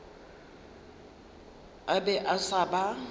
a be a sa ba